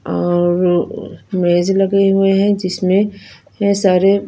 और मेज लगे हुए हैं जिसमें में सारे--